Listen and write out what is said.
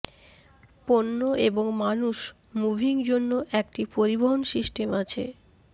পণ্য এবং মানুষ মুভিং জন্য একটি পরিবহন সিস্টেম আছে